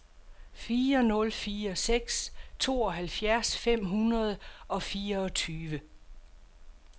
fire nul fire seks tooghalvfjerds fem hundrede og fireogtyve